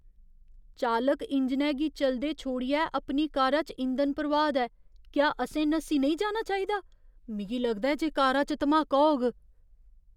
चालक इंजनै गी चलदे छोड़ियै अपनी कारा च इंधन भरोआऽ दा ऐ। क्या असें नस्सी नेईं जाना चाहिदा? मिगी लगदा ऐ जे कारा च धमाका होग।